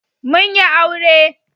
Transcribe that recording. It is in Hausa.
Mun yi aure.